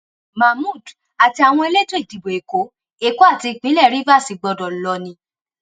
mahmood àti àwọn elétò ìdìbò èkó èkó àti ìpínlẹ rivers gbọdọ lọ ni